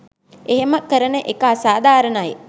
එහම කරන එක අසාධාරණයි